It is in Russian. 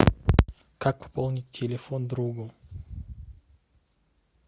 как пополнить телефон другу